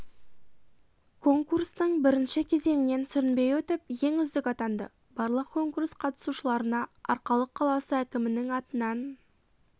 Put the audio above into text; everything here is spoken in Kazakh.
конкурстың бірінші кезеңінен сүрінбей өтіп ең үздік атанды барлық конкурс қатысушыларына арқалық қаласы әкімінің атынан